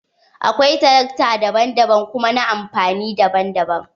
Akwai tarakta daban daban kuma na amfani daban daban.